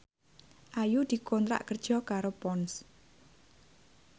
Ayu dikontrak kerja karo Ponds